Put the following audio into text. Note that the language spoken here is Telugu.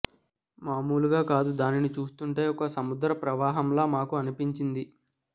మాములుగా కాదు దానిని చూస్తుంటే ఒక సముద్ర ప్రవాహంలా మాకు అనిపించింది